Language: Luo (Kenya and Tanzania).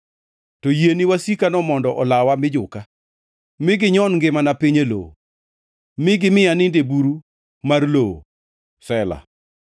to yie ni wasikano mondo olawa mi juka; we ginyon ngimana piny e lowo, mi gimi anind e buru mar lowo. Sela